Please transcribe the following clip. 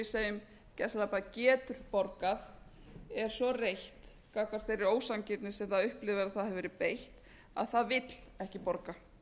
segjum gjörsamlega bara getur borgað er svo reitt gagnvart þeirri ósanngirni sem það upplifir að það hafi verið beitt að það vill ekki borga